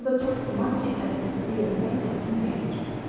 Və orda çox güman ki, ədəbsizlik eləmək lazım gəlmir.